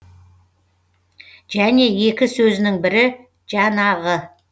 және екі сөзінің бірі жанағы